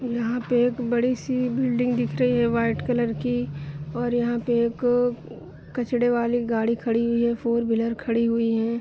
यहाँ पे एक बड़ी सी बिल्डिंग दिख रही है व्हाइट कलर की और यहाँ पे एक कचड़े वाले गाड़ी खड़ी हुई है फोर व्हीलर खड़ी हुई है।